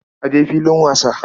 A je filin wasa.